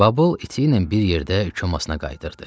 Babıl iti ilə bir yerdə çomasına qayıdırdı.